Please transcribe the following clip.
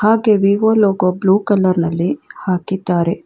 ಅದಕ್ಕೆ Vivo logo blue colour ನಲ್ಲಿ ಹಾಕಿದ್ದಾರೆ.